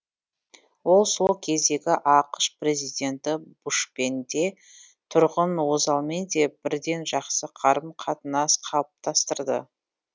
ол сол кездегі ақш президенті бушпен де тұрғыт озалмен де бірден жақсы қарым қатынас қалыптастырды